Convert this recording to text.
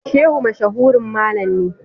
Shehu mashahurin mallam ne.